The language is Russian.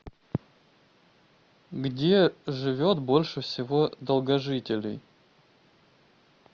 где живет больше всего долгожителей